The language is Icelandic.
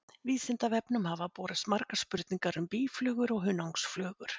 Vísindavefnum hafa borist margar spurningar um býflugur og hunangsflugur.